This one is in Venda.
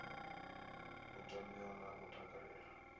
u tamiwa na u takalelwa